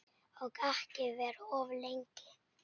Og ekki vera of lengi.